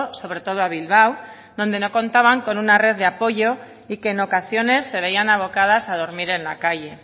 sobre todo a bilbao donde no contaban con una red de apoyo y que en ocasiones se veían abocadas a dormir en la calle